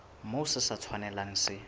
moo se sa tshwanelang se